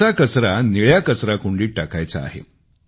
असा कचरा निळ्या कचराकुंडीत टाकायचा आहे